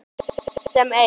Þeir allir sem einn?